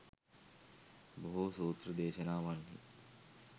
බොහෝ සූත්‍ර දේශනාවන්හි